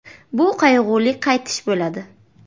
“Bu qayg‘uli qaytish bo‘ladi”.